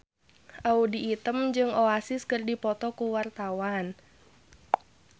Audy Item jeung Oasis keur dipoto ku wartawan